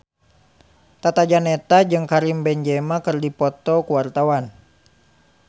Tata Janeta jeung Karim Benzema keur dipoto ku wartawan